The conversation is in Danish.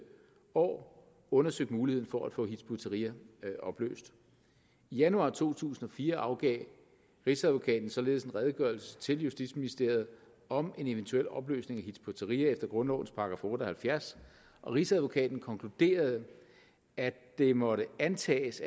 år undersøgt muligheden for at få hizb ut tahrir opløst i januar to tusind og fire afgav rigsadvokaten således en redegørelse til justitsministeriet om en eventuel opløsning af hizb ut tahrir efter grundlovens § otte og halvfjerds og rigsadvokaten konkluderede at det måtte antages